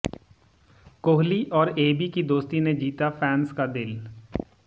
कोहली और एबी की दोस्ती ने जीता फैन्स का दिल